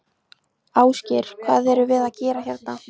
Ásgeir: Hvað ertu að gera hérna?